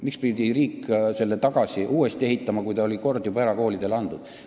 Miks pidi riik selle uuesti ehitama, kui see oli kord juba erakoolidele antud?